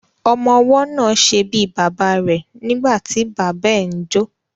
Ọmọwọ́ náà ṣe bíi bàbá rẹ̀ nígbàtí bàbá ẹ ń jó.